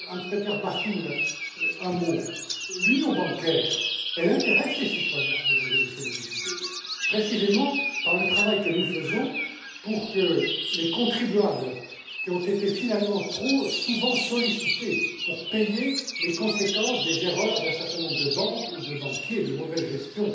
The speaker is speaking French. À M. Hans Peter Martin, un mot l'union bancaire intéresse les citoyens, Mesdames et Messieurs les députés, précisément par le travail que nous faisons pour que les contribuables qui ont été finalement trop souvent sollicités pour payer les conséquences des erreurs d'un certain nombre de banques ou de banquiers, d'une mauvaise